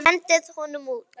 Hendið honum út!